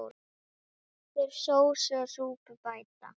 Kraftur sósu og súpur bæta.